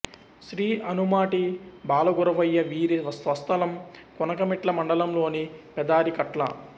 శ్రీ అనుమాటి బాలగురవయ్య వీరి స్వస్థలం కొనకణమిట్ల మండలంలోని పెదారికట్ల